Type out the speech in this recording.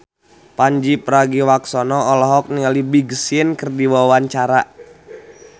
Pandji Pragiwaksono olohok ningali Big Sean keur diwawancara